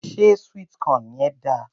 Ṣé sweet corn yẹn dáa?